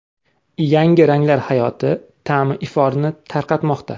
Yangi ranglar hayot ta’mi iforini tarqatmoqda.